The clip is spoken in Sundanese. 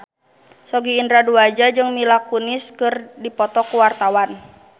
Sogi Indra Duaja jeung Mila Kunis keur dipoto ku wartawan